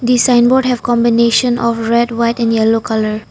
This sign board have combination of red white and yellow colour.